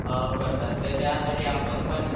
करतात तर् त्यासाठी आपल्याला आपण पण